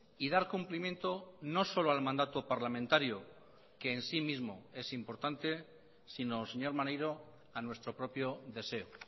y dar cumplimiento no solo al mandato parlamentario que en sí mismo es importante sino señor maneiro a nuestro propio deseo